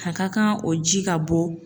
A ka kan o ji ka bɔ